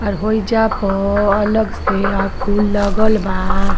और होइजा प अलग से अ फूल लगल बा।